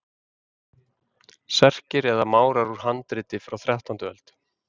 Serkir eða Márar úr handriti frá þrettándu öld.